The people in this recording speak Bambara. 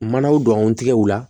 Manaw don tigɛw la